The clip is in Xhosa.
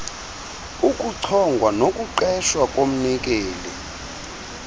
ukuchongwa nokuqeshwa komnikeli